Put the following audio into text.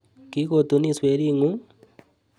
Kikotunis wering'ung'?